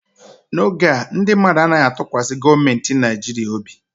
N'oge a, ndị mmadụ anaghị atụkwasị gọọmentị Nigeria obi